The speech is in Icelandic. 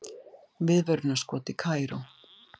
Viðvörunarskot í Kaíró